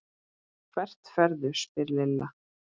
Hvert ferðu? spurði Lilla.